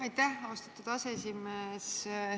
Aitäh, austatud aseesimees!